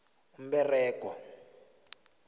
umberego